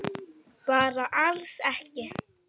Bara alls ekki.